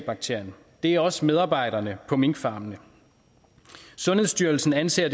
bakterien det er også medarbejderne på minkfarmene sundhedsstyrelsen anser